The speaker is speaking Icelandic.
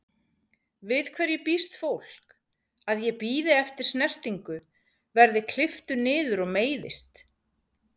Við hverju býst fólk, að ég bíði eftir snertingu, verð klipptur niður og meiðist?